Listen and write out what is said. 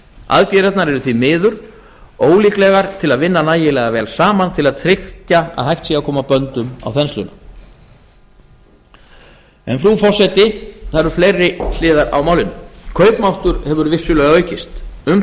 aðgerðirnar eru því miður ólíklegar til að vinna nægilega vel saman til að tryggja að hægt sé að koma böndum á þensluna en frú forseti það eru fleiri hliðar á málinu kaupmáttur hefur vissulega aukist um